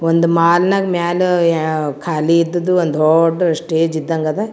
ಒಂದು ಮಾಲ್ ನಾಗ್ ಮ್ಯಾಲ ಖಾಲಿ ಇದ್ದುದ್ ಒಂದು ದೊಡ್ಡ ಸ್ಟೇಜ್ ಇದಂಗ್ ಅದ್ .